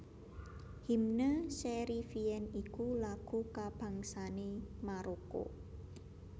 Hymne Cherifien iku lagu kabangsané Maroko